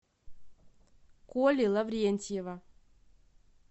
коли лаврентьева